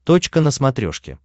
точка на смотрешке